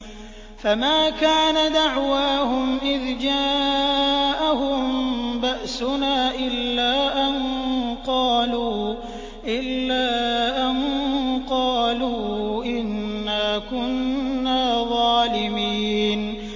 فَمَا كَانَ دَعْوَاهُمْ إِذْ جَاءَهُم بَأْسُنَا إِلَّا أَن قَالُوا إِنَّا كُنَّا ظَالِمِينَ